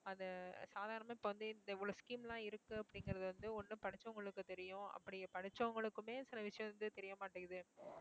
அது சாதாரணமா இப்ப வந்து இந்த இவ்வளோ scheme லாம் இருக்கு அப்படிங்கிறது வந்து ஒண்ணு படிச்சவங்களுக்கு தெரியும் அப்படி படிச்சவங்களுக்குமே சில விஷயம் வந்து தெரியமாட்டேங்குது